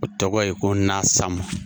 O tɔgɔ ye ko Nasama